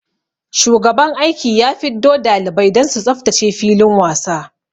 Shugaban aiki ya fiddo dalibai don su tsaftace filin wasa.